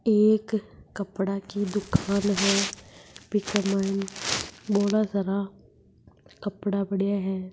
एक कपड़ा की दुकान है पीछे मन बोला सारा कपड़ा पड़ा है।